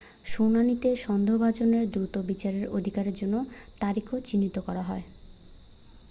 শুনানিতে সন্দেহভাজনের দ্রুত বিচারের অধিকারের জন্য তারিখও চিহ্নিত করা হয়